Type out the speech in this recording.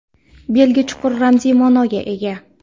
belgi chuqur ramziy maʼnoga ega.